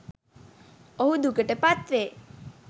ඔහු දුකට පත්වේ.